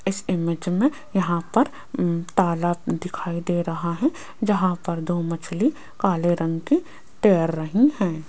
इस इमेज में यहां पर तालाब दिखाई दे रहा है जहां पर दो मछली काले रंग की तैर रही है।